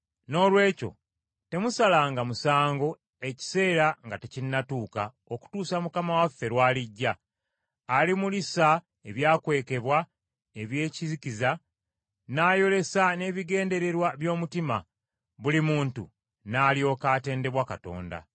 Noolwekyo temusalanga musango ekiseera nga tekinnatuuka okutuusa Mukama waffe lw’alijja, alimulisa ebyakwekebwa eby’ekizikiza, n’ayolesa n’ebigendererwa by’omutima, buli muntu n’alyoka atendebwa Katonda.